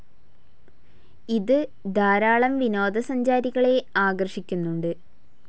ഇത് ധാരാളം വിനോദസഞ്ചാരികളെ ആകർഷിക്കുന്നുണ്ട്.